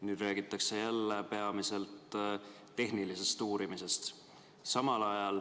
Nüüd räägitakse jälle peamiselt tehnilisest uurimisest.